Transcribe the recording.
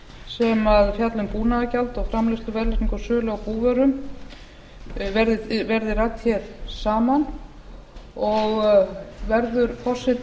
sem fjalla um búnaðargjald og framleiðslu verðlagningu og sölu á búvörum verði rædd saman og verður forseti